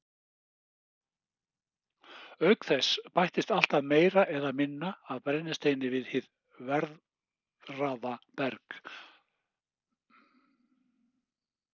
Auk þess bætist alltaf meira eða minna af brennisteini við hið veðraða berg.